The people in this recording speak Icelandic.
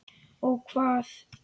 Og hvað?